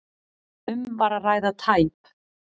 Um var að ræða tæp